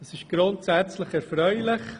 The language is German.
Das ist grundsätzlich erfreulich.